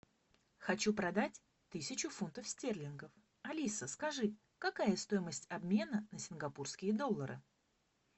хочу продать тысячу фунтов стерлингов алиса скажи какая стоимость обмена на сингапурские доллары